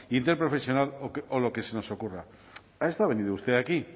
interprofesional o lo que se nos ocurra a esto ha venido usted aquí